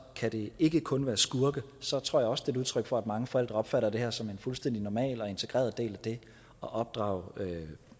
kan det ikke kun være skurke så tror jeg også det er et udtryk for at mange forældre opfatter det her som en fuldstændig normal og integreret del af det at opdrage